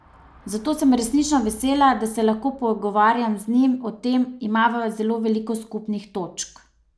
Zato sem resnično vesela, da se lahko pogovarjam z njim o tem, imava zelo veliko skupnih točk.